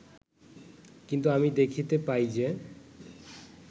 কিন্তু আমি দেখিতে পাই যে